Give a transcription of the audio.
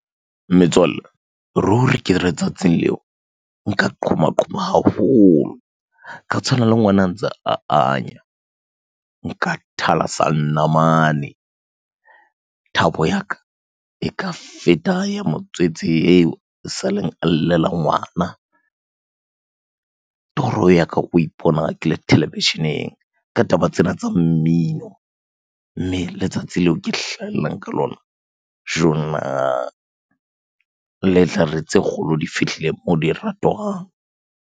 Metswalle, ruri ke re tsatsing leo nka qhoma qhoma haholo, ka tshwana le ngwana a ntse anya. Nka thalasa namane. Thabo ya ka, e ka feta ya motswetse eo e sa leng a llela ngwana. Toro ya ka ke ho ipona ke le televisheneng ka taba tsena tsa mmino. Mme letsatsi leo ke hlahellang ka lona, jonna! Le tlhare, tse kgolo di fihlile moo di ratwang.